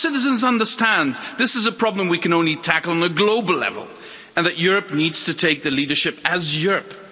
Our citizens understand this is a problem we can only tackle on a global level, and that Europe needs to take the leadership as Europe.